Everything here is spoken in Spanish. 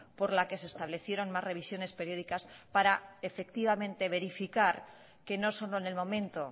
por la que se establecieron más revisiones periódicas para efectivamente verificar que no solo en el momento